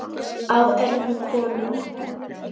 Á öðrum konum.